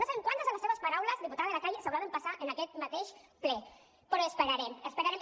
no sabem quantes de les seves paraules diputada de la calle s’haurà d’empassar en aquest mateix ple però esperarem esperarem